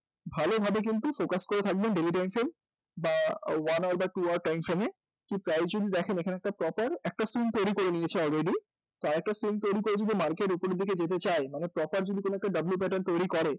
ভালোভাবে কিন্তু focus করে থাকবেন daily time frame বা one of the two time frame এ যে price যদি দেখেন এখানে proper একটা scene তৈরি করে নিয়েছে already আর একটা scene তৈরি করে যদি market w pattern তৈরি করে